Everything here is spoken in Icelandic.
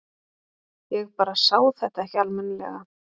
Ég bara sá þetta ekki almennilega.